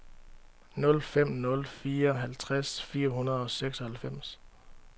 nul fem nul fire halvtreds fire hundrede og seksoghalvfems